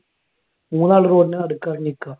മൂന്നാൾ road ന്റെ നടുക്ക് അങ്ങട് നിക്ക.